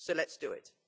So let's do it.